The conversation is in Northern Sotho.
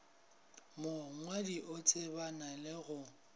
mongwadi o tsebana le go